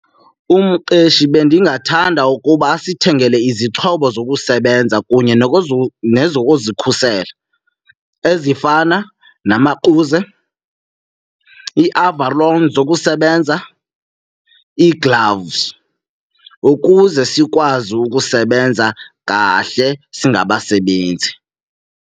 Umqeshi bendingathanda ukuba asithengele izixhobo zokusebenza kunye nezokuzikhusela ezifana namaquze, iivaroli zokusebenza, ii-gloves, ukuze sikwazi ukusebenza kahle singabasebenzi.